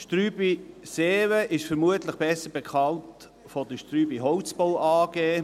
Strüby Seewen ist vermutlich besser bekannt als Strüby Holzbau AG.